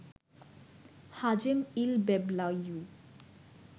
Hazem El Beblawi